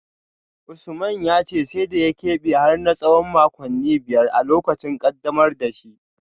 Usman ya ce sai da ya kebe har na tsawon makonni biyar a lokacin kaddamar da shi